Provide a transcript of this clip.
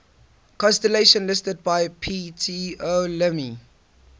constellations listed by ptolemy